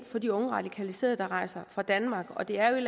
for de unge radikaliserede der rejser fra danmark og det er jo et